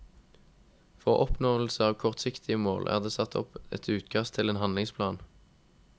For oppnåelse av kortsiktige mål er det satt opp et utkast til en handlingsplan.